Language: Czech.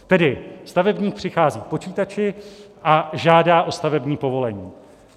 Tedy stavebník přichází k počítači a žádá o stavební povolení.